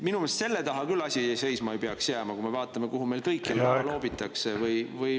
Minu meelest selle taha küll asi seisma ei peaks jääma, kui me vaatame, kuhu meil kõikjal raha loobitakse.